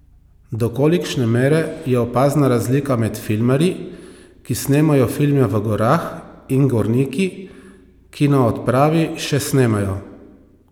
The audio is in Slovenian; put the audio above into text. Do kolikšne mere je opazna razlika med filmarji, ki snemajo filme v gorah, in gorniki, ki na odpravi še snemajo?